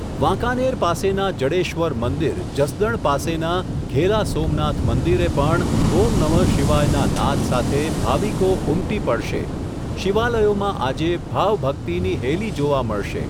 વાંકાનેર પાસેના જડેશ્વર મંદિર, જસદણ પાસેના ઘેલા સોમનાથ મંદિરે, પણ ઓમ નમઃ શિવાયના નાદ સાથે, ભાવિકો ઉમટી પડશે, શિવાલયોમાં આજે ભાવભક્તિની હેલી જોવા મળશે.